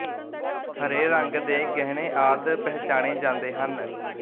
ਹਰੇ ਰੰਗ ਦੇ ਗਹਿਣੇ ਆਦਿ ਪਹਿਚਾਣੇ ਜਾਂਦੇ ਹਨ